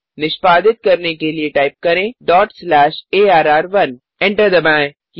निष्पादित करने के लिए टाइप करें डॉट स्लैश अर्र1 एंटर दबाएँ